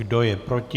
Kdo je proti?